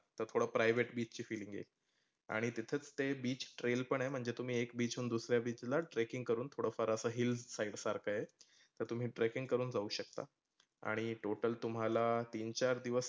तर थोड private beach ची feel येईल. आणि तिथेच ते beach trail पण आहे म्हणजे तुम्ही एक beach वरून दुरर्या beach ला trekking करूण थोडफार असं hill site सारख आहे. तर तुम्ही trekking करूण जाऊ शकता. आणि total तुम्हाला तीन चार दिवस